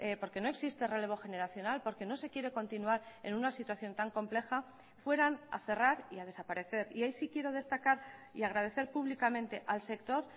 porque no existe relevo generacional porque no se quiere continuar en una situación tan compleja fueran a cerrar y a desaparecer y ahí sí quiero destacar y agradecer públicamente al sector